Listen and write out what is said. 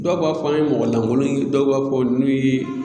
Dɔw b'a fɔ an ye mɔgɔ lankolon ye dɔw b'a fɔ n'u ye